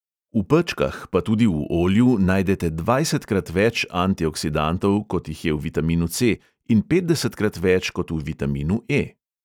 V pečkah, pa tudi v olju najdete dvajsetkrat več antioksidantov, kot jih je v vitaminu ce|, in petdesetkrat več kot v vitaminu e|.